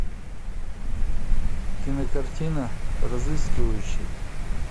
кинокартина разыскивающий